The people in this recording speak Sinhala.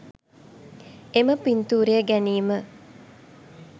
එම පින්තූරය ගැනීම